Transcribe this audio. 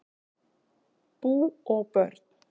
Bú og börn